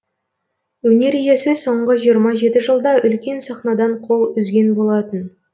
өнер иесі соңғы жиырма жылда үлкен сахнадан қол үзген болатын